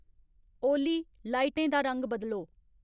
ओली लाइटें दा रंग बदलो